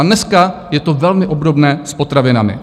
A dneska je to velmi obdobné s potravinami.